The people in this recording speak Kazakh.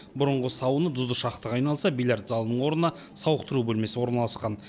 бұрынғы сауна тұзды шахтаға айналса бильярд залының орнына сауықтыру бөлмесі орналасқан